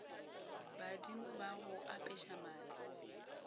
badimo ba go apeša maatla